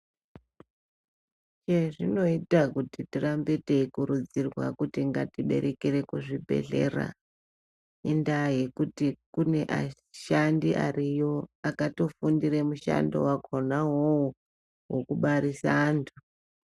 Chezvinoita kuti ngatirambe teikurudzirwa kuti ngatiberekere kuzvibhehlera indaa yekuti kune ashandi ariyo akatofundire mushando wakhona iwowo wekubarisa anthu.